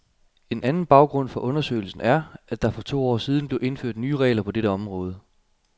En anden baggrund for undersøgelsen er, at der for to år siden blev indført nye regler på dette område.